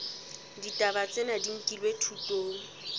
ditaba tsena di nkilwe thutong